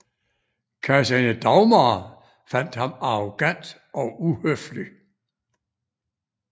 Kejserinde Dagmar fandt ham arrogant og uhøflig